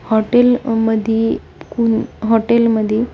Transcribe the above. hotel मध्ये कुम्म hotel मध्ये--